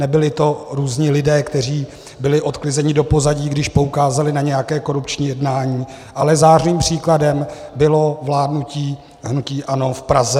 Nebyli to různí lidé, kteří byli odklizeni do pozadí, když poukázali na nějaké korupční jednání, ale zářným příkladem bylo vládnutí hnutí ANO v Praze.